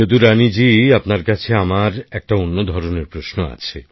যদুরানী জি আপনার জন্য আমার একটা অন্য ধরনের প্রশ্ন আছে